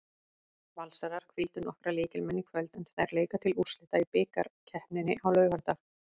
Valsarar hvíldu nokkra lykilmenn í kvöld en þær leika til úrslita í bikarkeppninni á laugardag.